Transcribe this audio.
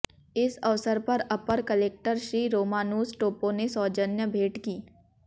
इस अवसर पर अपर कलेक्टर श्री रोमानुस टोपो से सौजन्य भेट की